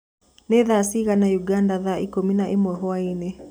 ni thaa cĩĩgana ũganda thaa ĩkũmĩ na ĩmwe hwaĩnĩ